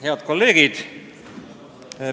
Head kolleegid!